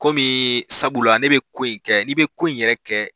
Komi sabula ne bɛ ko in kɛ n'i bɛ ko in yɛrɛ kɛ